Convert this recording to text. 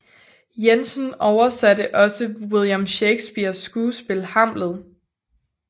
Jensen oversatte også William Shakespeares skuespil Hamlet